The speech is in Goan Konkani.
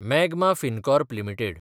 magma Fincorp limited